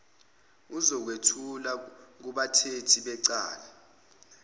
uzokwethula kubathethi becala